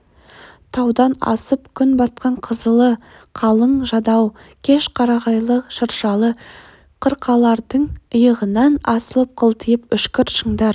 таудан асып күн батқан қызылы қылаң жадау кеш қарағайлы шыршалы қырқалардың иығынан асылып қылтиып үшкір шыңдар